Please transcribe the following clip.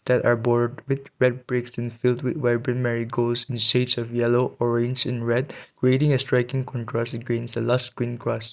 there are board with red bricks and filled with vibrant marigolds in the shades of yellow orange and red creating a striking contrast with green lush green grass.